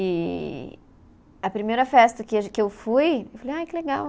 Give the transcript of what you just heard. E a primeira festa que a ge, que eu fui, eu falei, ah, que legal